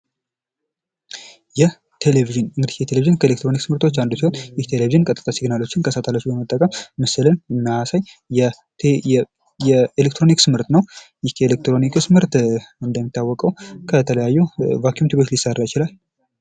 ይህ ቴሌቪዥን የቴሌቪዥን ከኤሌክትሮኒክስ ምርቶች አንዱ ሲሆን ምስልን ወደ ሲግል ቀይሮ ኤሌክትሮኒክስ ምርት ኤሌክትሮኒክስ ምርት እንደሚታወቀው ከተለያዩ ሊሰራ ይችላል።